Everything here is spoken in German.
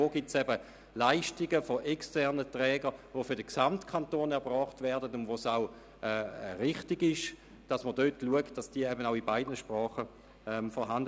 Wo gibt es Leistungen externer Träger, die für den Gesamtkanton erbracht werden und wo man zu Recht hinschauen soll, dass dies in beiden Sprachen erfolgt?